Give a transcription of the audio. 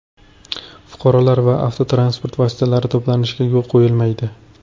Fuqarolar va avtotransport vositalari to‘planishiga yo‘l qo‘yilmaydi.